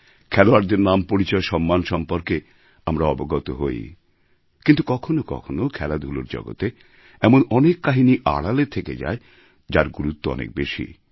খেলোয়াড়দের নামপরিচয়সম্মান সম্পর্কে আমরা অবগত হই কিন্তু কখনও কখনও খেলাধূলার জগতে এমন অনেক কাহিনি আড়ালে থেকে যায় যার গুরুত্ব অনেক বেশি